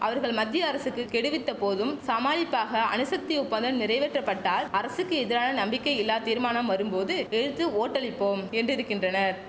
அவர்கள் மத்திய அரசுக்கு கெடுவித்த போதும் சமாளிப்பாக அணுசக்தி ஒப்பந்தம் நிறைவேற்றப்பட்டால் அரசுக்கு எதிரான நம்பிக்கை இல்லா தீர்மானம் வரும்போது எதிர்த்து ஓட்டளிப்போம் என்றிருக்கின்றனர்